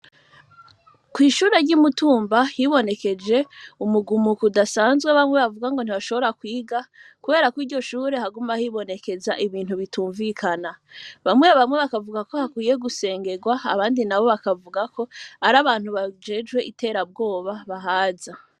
Kw'ishuri ry'umutumba hibonekeje umugumuko udasanzwe bamwe bavuga ngo ntibashobora kwiga, kubera ko iryo shure haguma hibonekeza ibintu bitumvikana, bamwe bamwe bakavuga ko hakwiye gusengerwa abandi na bo bakavugako ari abantu bajejwe iterabwoba bahaza.